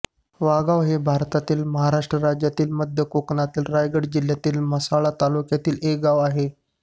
वाघाव हे भारतातील महाराष्ट्र राज्यातील मध्य कोकणातील रायगड जिल्ह्यातील म्हसळा तालुक्यातील एक गाव आहे